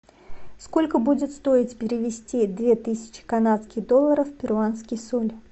сколько будет стоить перевести две тысячи канадских долларов в перуанский соль